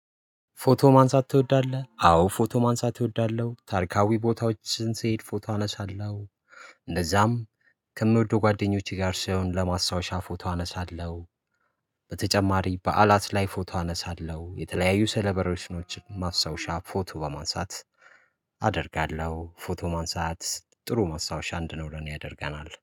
ፎቶ ማንሳት ትወዳለህ? አዎ ፎቶ ማንሳት እወዳለሁ ታርካዊ ቦታዎችን ስንሄድ ፎቶ አነሳለሁ እንደዛም ከምወደው ጓደኞቼ ጋር ሳይሆን ለማስታወሻ ፎቶ አነሳለሁ። በተጨማሪ በዓላት ላይ ፎቶ አነሳለሁ የተለያዩ ሰለበሬሽኖችን ማስታወሻ ፎቶ በማንሳት አደርጋለሁ። ፎቶ ማንሳት ጥሩ ማስታወሻ እንዲኖረን ያደርገናል